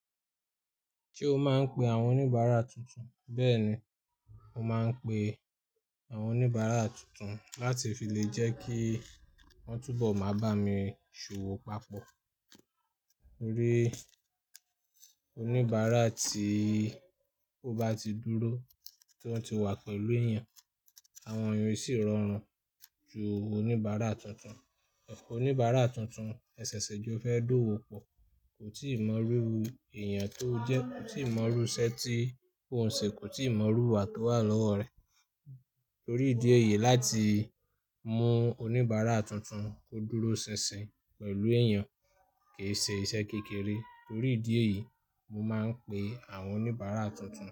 Ṣé o máa ń pe àwọn oníbàárà tuntun? Bẹ́ẹ̀ni, mo máa ń pe àwọn oníbàárà tuntun láti fi lè jẹ́ kí wọ́n túbọ̀ máa bá mi ṣòwò papọ̀. Rí, oníbàárà tí ó bá ti dúró, tí wọ́n ti wà pẹ̀lú èèyàn, àwọn èyàn sì rọrùn ju oníbàárà tuntun. Oníbàárà tuntun ṣẹ̀ṣẹ̀ jọ fẹ́ dówò pọ̀, kò tíì mọrú èèyàn tó jẹ́, kò tíì mọrú iṣẹ́ tí òn ṣe, kò tíì mọrú ìwà tó wà lọ́wọ́ rẹ̀. Torí ìdí èyí láti mú oníbàárà tuntun kó dúró ṣinṣin pẹ̀lú èèyàn kì í ṣe iṣẹ́ kékeré. Torí ìdí èyí, mo máa ń pe àwọn oníbàárà tuntun.